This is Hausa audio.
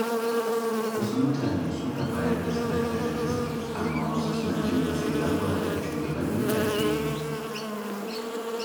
Wasu mutane suna bayar da sadaka da gaske, amma wasu suna jin matsin lamba daga shugabannin addini.